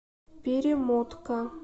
перемотка